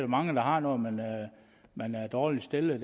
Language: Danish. mange der har når man man er dårligt stillet